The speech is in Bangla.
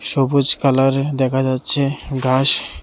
সবুজ কালার দেখা যাচ্ছে গাস--